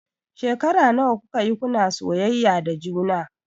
Shekara nawa kuka yi kuna soyayya da juna?